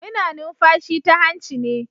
Muna numfashi ta hanci ne.